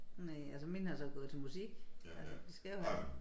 Næ altså mine har så gået til musik altså de skal jo have